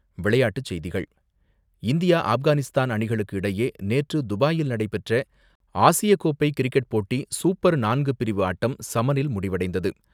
விளையாட்டுச் செய்திகள் இந்தியா ஆப்கானிஸ்தான் அணிகளுக்கு இடையே நேற்று துபாயில் நடைபெற்ற ஆசியக்கோப்பை கிரிக்கெட் போட்டி சூப்பர் நான்கு பிரிவு ஆட்டம் சமனில் முடிவடைந்தது.